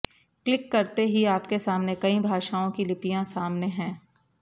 click करते ही आपके सामने कई भाषाओं की लिपियाँ सामने है